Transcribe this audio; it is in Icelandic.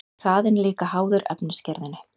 hraðinn er líka háður efnisgerðinni